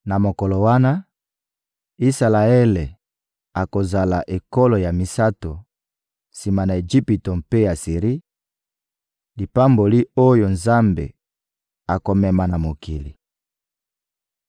Na mokolo wana, Isalaele akozala ekolo ya misato, sima na Ejipito mpe Asiri, lipamboli oyo Nzambe akomema na mokili.